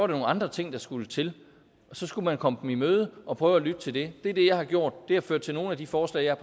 nogle andre ting der skulle til og så skulle man komme dem i møde og prøve at lytte til dem det er det jeg har gjort og det har ført til nogle af de forslag jeg